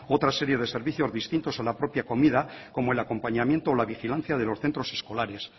otra serie de servicios distintos a la propia comida como el acompañamiento o la vigilancia de los centros escolares